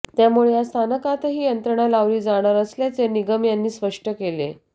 त्यामुळे या स्थानकातही यंत्रणा लावली जाणार असल्याचे निगम यांनी स्पष्ट केले